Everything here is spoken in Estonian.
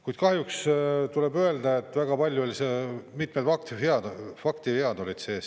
Kuid kahjuks tuleb öelda, et väga paljud, mitmed faktivead olid sees.